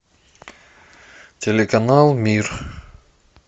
телеканал мир